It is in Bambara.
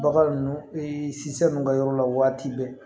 Bagan ninnu ninnu ka yɔrɔ la waati bɛɛ